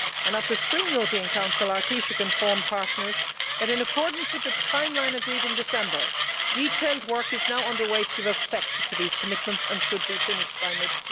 At the spring European Council our Taoiseach informed partners that, in accordance with the timeline agreed in December, detailed work is now under way to give effect to these commitments and should be finished by mid